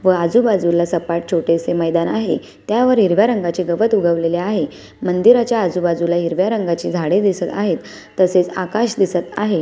व आजुबाजुला सपाट छोटेसे मैदान आहे. त्यावर हिरव्या रंगाचे गवत उगवले आहे मंदिराच्या आजुबाजुला हिरव्या रंगाचे झाड आहेत तसेच आकाश दिसत आहे.